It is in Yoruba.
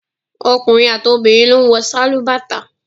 Ọkùnrin àti obìnrin ló ń wọ sálúbàtà